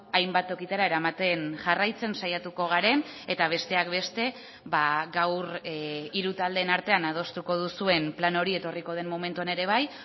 hainbat tokitara eramaten jarraitzen saiatuko garen eta besteak beste gaur hiru taldeen artean adostuko duzuen plan hori etorriko den momentuan ere bai